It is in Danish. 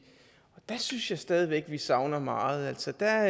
og der synes jeg stadig væk vi savner meget der